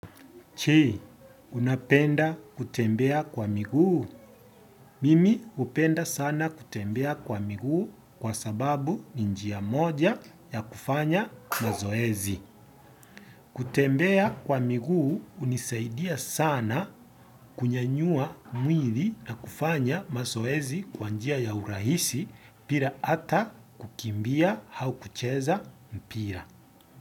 Je, unapenda kutembea kwa miguu? Mimi hupenda sana kutembea kwa miguu kwa sababu ni njia moja ya kufanya mazoezi. Kutembea kwa miguu hunisaidia sana kunyanyua mwili na kufanya mazoezi kwa njia ya urahisi bila ata kukimbia au kucheza mpira.